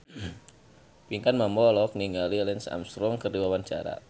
Pinkan Mambo olohok ningali Lance Armstrong keur diwawancara